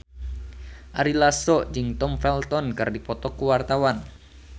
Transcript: Ari Lasso jeung Tom Felton keur dipoto ku wartawan